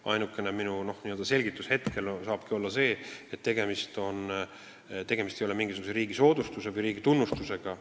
Ainukene selgitus hetkel saabki olla see, et tegemist ei ole mingisuguse riigi antava soodustuse või tunnustusega.